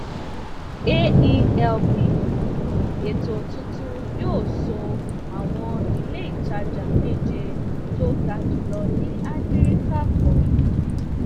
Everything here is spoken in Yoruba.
aelp ètò tuntun yóò so àwọn iléìtajà meje tó ga jùlọ ní áfíríkà pọ